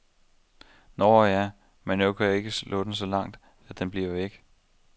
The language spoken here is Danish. Nåh ja, men nu kan jeg ikke slå den så langt, at den bliver væk.